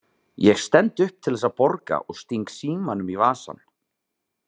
Ég stend upp til þess að borga og sting símanum í vasann.